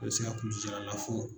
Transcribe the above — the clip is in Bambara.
sina kulusijala lafo